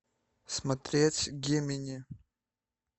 смотреть гемини